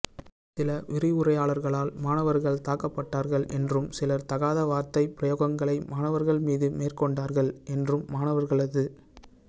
சில விரிவுரையாளர்களால் மாணவர்கள் தாக்கப்பட்டார்கள் என்றும் சிலர் தகாத வார்த்தைப் பிரயோகங்களை மாணவர்கள் மீதுமேற் கொண்டார்கள் என்றும் மாணவர்களது